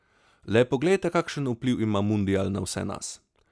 Le poglejte, kakšen vpliv ima mundial na vse nas.